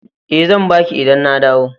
E, zan ba ki idan na dawo.